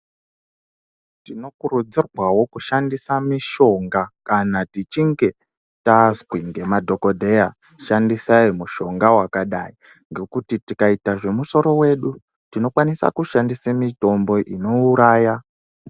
Tinokurudzirwawo kushandisa mishonga kana tichinge tazwi ngemadhokodheya shandisai mishonga wakadai. Ngekuti tikaita zvemusoro wedu tinokwanisa kushandisa mitombo inouraya.